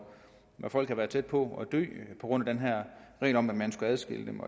folk har været tæt på at dø på grund af den her regel om at man skal adskille dem